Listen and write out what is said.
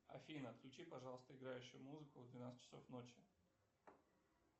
афина отключи пожалуйста играющую музыку в двенадцать часов ночи